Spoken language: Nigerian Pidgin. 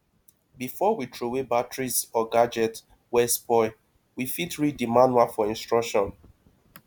before we trowey batteries or gadget wey spoil we fit read di manual for instruction